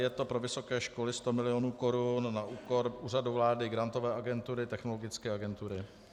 Je to pro vysoké školy 100 milionů korun na úkor Úřadu vlády, Grantové agentury, Technologické agentury.